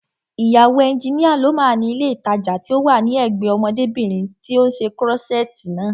Ìyàwó ẹnjínìa ló máa ni ilé ìtajà tí ó wà ní ẹ̀gbẹ́ẹ ọmọdébìnrin tí ó ṣe kúrọ́ṣẹ̀ẹ̀tì naa